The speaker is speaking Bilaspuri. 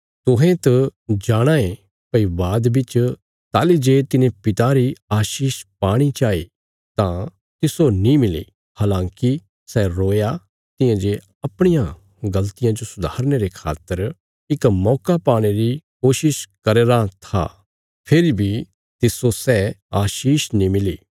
तुहें त जाणाँ ये भई बाद बिच ताहली जे तिने पिता री आशीष पाणी चाई तां तिस्सो नीं मिली हलाँकि सै रोया तियां जे अपणियां गल़तियां जो सुधारने रे खातर इक मौका पाणे री कोशिश करया राँ था फेरी बी तिस्सो सै आशीष नीं मिली